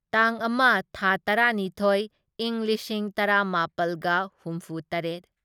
ꯇꯥꯡ ꯑꯃ ꯊꯥ ꯇꯔꯥꯅꯤꯊꯣꯢ ꯢꯪ ꯂꯤꯁꯤꯡ ꯇꯔꯥꯃꯥꯄꯜꯒ ꯍꯨꯝꯐꯨꯇꯔꯦꯠ